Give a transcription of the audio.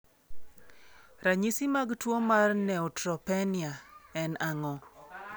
Ranyisi mag tuwo mar Neutropenia en ang'o?